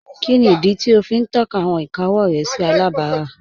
Kíni idí tí o fi n tọka awọn ìkà ọwọ rẹ sí alábárá?